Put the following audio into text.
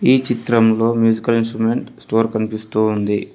ఈ చిత్రంలో musical instrument store కనిపిస్తూ ఉంది.